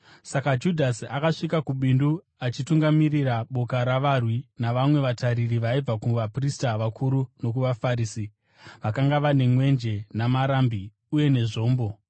Saka Judhasi akasvika kubindu, achitungamirira boka ravarwi navamwe vatariri vaibva kuvaprista vakuru nokuvaFarisi. Vakanga vane mwenje namarambi uye nezvombo.